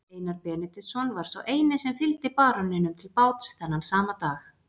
Einar Benediktsson var sá eini sem fylgdi baróninum til báts þennan sama dag.